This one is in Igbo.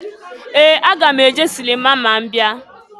Ee! Aga m eje silima ma m bia.